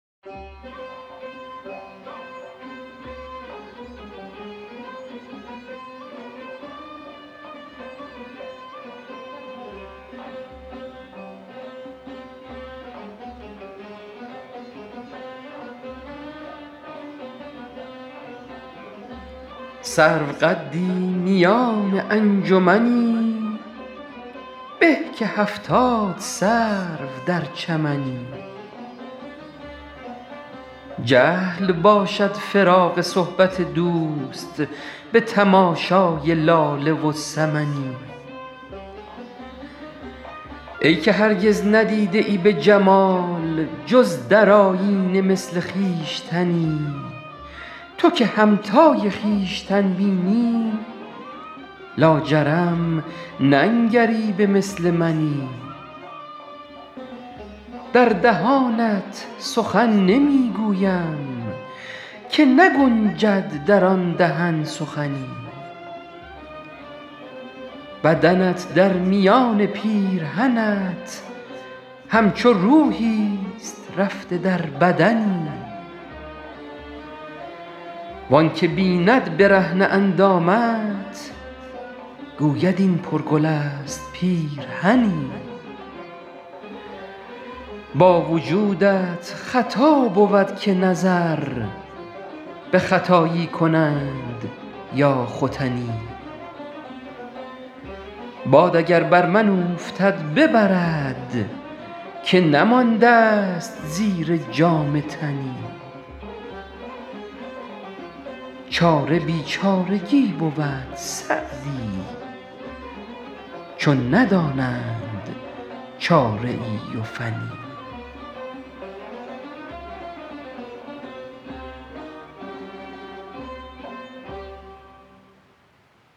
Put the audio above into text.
سروقدی میان انجمنی به که هفتاد سرو در چمنی جهل باشد فراق صحبت دوست به تماشای لاله و سمنی ای که هرگز ندیده ای به جمال جز در آیینه مثل خویشتنی تو که همتای خویشتن بینی لاجرم ننگری به مثل منی در دهانت سخن نمی گویم که نگنجد در آن دهن سخنی بدنت در میان پیرهنت همچو روحیست رفته در بدنی وآن که بیند برهنه اندامت گوید این پرگل است پیرهنی با وجودت خطا بود که نظر به ختایی کنند یا ختنی باد اگر بر من اوفتد ببرد که نمانده ست زیر جامه تنی چاره بیچارگی بود سعدی چون ندانند چاره ای و فنی